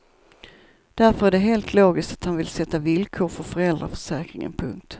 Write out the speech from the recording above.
Därför är det helt logiskt att han vill sätta villkor för föräldraförsäkringen. punkt